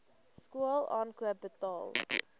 skool aankoop betaal